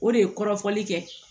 O de ye kɔrɔfɔli kɛ